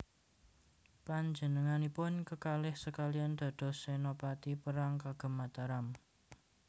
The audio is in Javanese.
Panjenenganipun kekalih sekalian dados senopati perang kagem Mataram